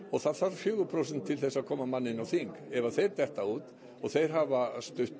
og það þarf fjórum prósentum til að koma manni á þing ef þeir detta út þeir hafa stutt